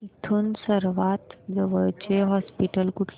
इथून सर्वांत जवळचे हॉस्पिटल कुठले